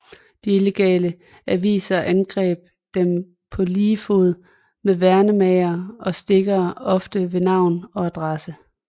De illegale aviser angreb dem på lige fod med værnemagere og stikkere ofte med navn og adresse